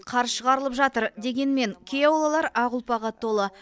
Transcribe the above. қар шығарылып жатыр дегенмен кей аулалар ақ ұлпаға толы